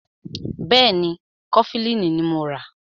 Bẹ́ẹ̀ni, Kọfilínì ní mọ rà.